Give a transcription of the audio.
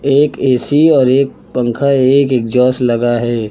एक ए_सी और एक पंखा एक एग्जास्ट लगा है।